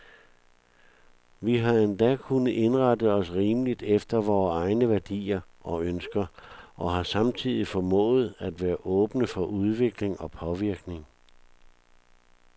Vi har endda kunnet indrette os rimeligt efter vore egne værdier og ønsker, og har samtidig formået at være åbne for udvikling og påvirkning.